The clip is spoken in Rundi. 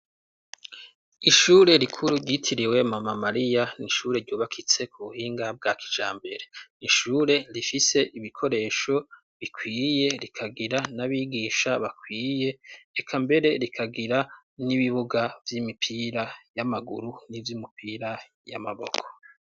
Ishure rikuru ryitiriwe mama Mariya ni ishure ryubakitse ku buhinga bwa kijambere. Ni ishure rifise ibikoresho bikwiye rikagira n'abigisha bakwiye reka mbere rikagira n'ibibuga vy'imipira y'amaguru n'ivy'imipira y'amaboko.